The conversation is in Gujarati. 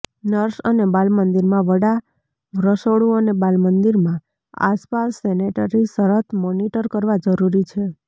નર્સ અને બાલમંદિરમાં વડા રસોડું અને બાલમંદિરમાં આસપાસ સેનેટરી શરત મોનીટર કરવા જરૂરી છે